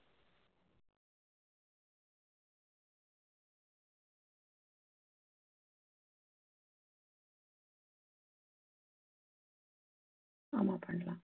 ஆமா பண்ணலாம்